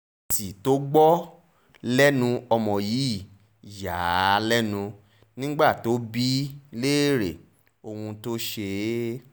èsì tó gbọ́ lẹ́nu ọmọ yìí yà á lẹ́nu nígbà tó bi í léèrè ohun tó ṣe é